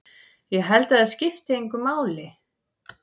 Ég held að það skipti engu máli.